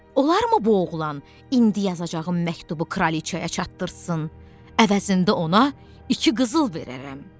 Olarmı bu oğlan indiyazacağım məktubu kraliçaya çatdırsın, əvəzində ona iki qızıl verərəm.